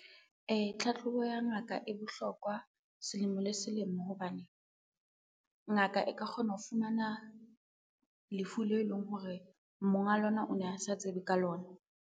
Tlhatlhobo ya ngaka e bohlokwa selemo le selemo hobane, ngaka e ka kgona ho fumana lefu leo e leng hore monga lona o ne a sa tsebe ka lona.